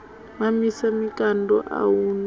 mamisa mikando a hu na